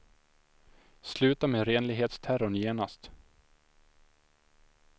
Sluta med renlighetsterrorn genast.